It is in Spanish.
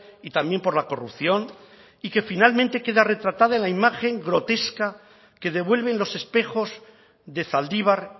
y también por la corrupción y que finalmente queda retratada en la imagen grotesca que devuelven los espejos de zaldibar